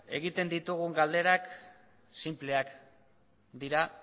egiten ditugun galderak sinpleak dira